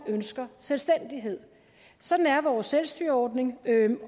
ønsker selvstændighed sådan er vores selvstyreordning